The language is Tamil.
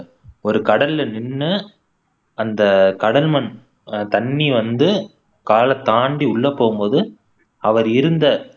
ஒரு கடல்ல நின்னு அந்த கடல் மண் அஹ் தண்ணி வந்து கால தாண்டி உள்ள போகும் போது அவர் இருந்த